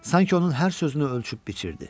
Sanki onun hər sözünü ölçüb biçirdi.